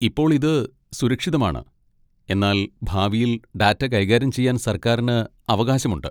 ഇപ്പോൾ ഇത് സുരക്ഷിതമാണ്, എന്നാൽ ഭാവിയിൽ ഡാറ്റ കൈകാര്യം ചെയ്യാൻ സർക്കാരിന് അവകാശമുണ്ട്.